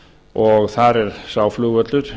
og þar er sá flugvöllur